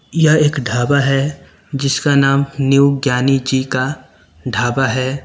यह एक ढाबा है जिसका नाम न्यू ज्ञानी जी का ढाबा है।